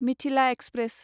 Mithila express